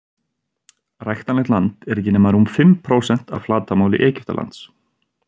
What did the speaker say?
ræktanlegt land er ekki nema rúm fimm prósent af flatarmáli egyptalands